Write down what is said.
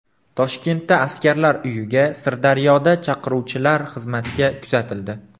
Toshkentda askarlar uyiga, Sirdaryoda chaqiruvchilar xizmatga kuzatildi .